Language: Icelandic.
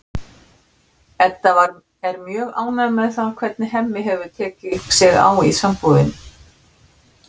Edda er mjög ánægð með það hvernig Hemmi hefur tekið sig á í sambúðinni.